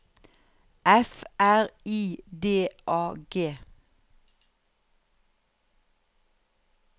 F R I D A G